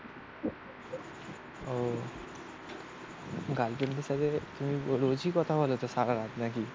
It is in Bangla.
ও গার্লফ্রেন্ডের সাথে তুমি রোজই কথা বলে তো সারারাত নাকি?